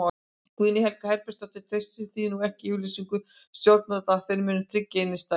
Guðný Helga Herbertsdóttir: Treystir þú ekki yfirlýsingum stjórnvalda að þeir muni tryggja innistæður?